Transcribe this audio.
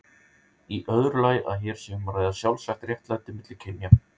Í öðru lagi að hér sé um að ræða sjálfsagt réttlæti milli kynja.